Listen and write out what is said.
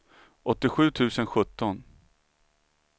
åttiosju tusen sjutton